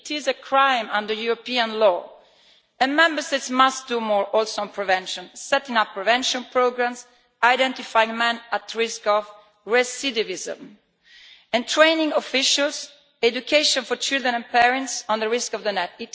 It is a crime under European law, and Member States must do more on prevention setting up prevention programmes, identifying men at risk of recidivism, training officials, and education for children and parents on the risk of the net.